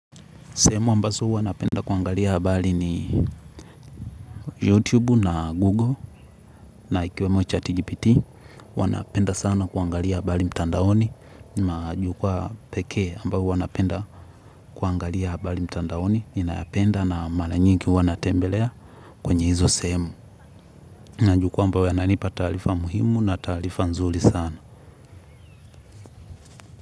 Sehemu ambazo huwa napenda kuangalia habari ni YouTube na Google na ikiwemo chat GPT wanapenda sana kuangalia habari mtandaoni. Majukwa pekee ambao huwa napenda kuangalia habari mtandaoni ninayapenda na maranyingi huwa natembelea kwenye hizo sehemu. Najukwa ambayo yananipa tarifa muhimu na tarifa nzuri sana.